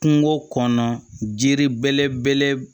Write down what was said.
Kungo kɔnɔ jiri bɛlɛbeleb